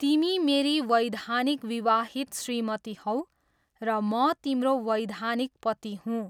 तिमी मेरी वैधानिक विवाहित श्रीमती हौ र म तिम्रो वैधानिक पति हुँ।